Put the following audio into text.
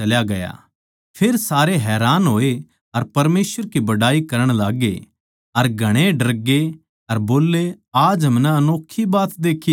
फेर सारे हैरान होए अर परमेसवर की बड़ाई करण लाग्गे अर घणे डरकै बोल्ले आज हमनै अनोक्खी बात देक्खी सै